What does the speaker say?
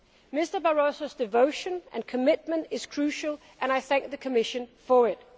Mr Barroso's devotion and commitment is crucial and I thank the Commission for it.